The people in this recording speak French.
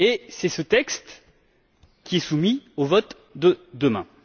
C'est ce texte qui est soumis au vote de demain.